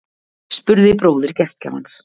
spurði bróðir gestgjafans